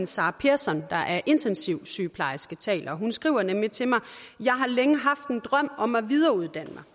sara persson der er intensivsygeplejerske der taler hun skriver nemlig til mig jeg har længe haft en drøm om at videreuddanne mig